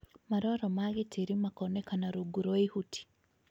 Maroro ma gĩtĩri makonekana rungu rwa ihuti